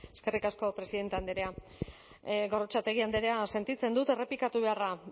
eskerrik asko presidenta andrea gorrotxategi andrea sentitzen dut errepikatu beharra